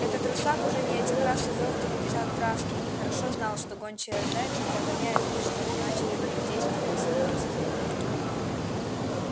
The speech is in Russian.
этот русак уже не один раз увёртывался от травки и хорошо знал что гончая зайца догоняет и что значит надо действовать хитростью